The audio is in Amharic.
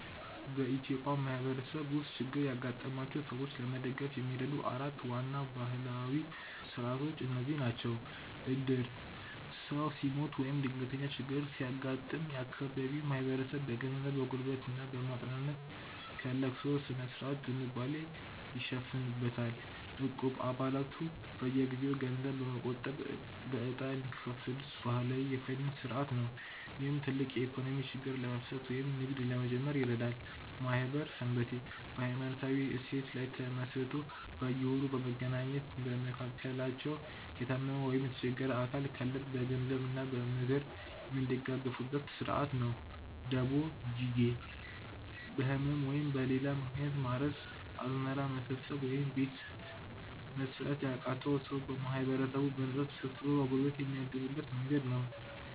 በኢትዮጵያ ማህበረሰብ ውስጥ ችግር ያጋጠማቸውን ሰዎች ለመደገፍ የሚረዱ 4 ዋና ባህላዊ ሥርዓቶች እነዚህ ናቸው፦ ዕድር፦ ሰው ሲሞት ወይም ድንገተኛ ችግር ሲያጋጥም፣ የአካባቢው ማህበረሰብ በገንዘብ፣ በጉልበት እና በማጽናናት ከለቅሶ ሥነ-ሥርዓት ዝንባሌ ይሸፍንበታል። ዕቁብ፦ አባላቱ በየጊዜው ገንዘብ በመቆጠብ በዕጣ የሚካፈሉበት ባህላዊ የፋይናንስ ሥርዓት ነው፣ ይህም ትልቅ የኢኮኖሚ ችግርን ለመፍታት ወይም ንግድ ለመጀመር ይረዳል። ማኅበር / ሰንበቴ፦ በሃይማኖታዊ እሴት ላይ ተመስርቶ በየወሩ በመገናኘት፣ በመካከላቸው የታመመ ወይም የቸገረ አባል ካለ በገንዘብ እና በምክር የሚደጋገፉበት ሥርዓት ነው። ደቦ (ጂጌ)፦ በህመም ወይም በሌላ ምክንያት ማረስ፣ አዝመራ መሰብሰብ ወይም ቤት መሥራት ያቃተውን ሰው ማህበረሰቡ በነፃ ተሰብስቦ በጉልበት የሚያግዝበት መንገድ ነው።